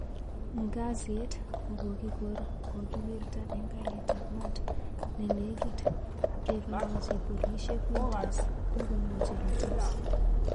Ngazit kokokigor kokiwirta en garit ap mat ne neykit, nekalachi polishek Winters kokomwachi Rueters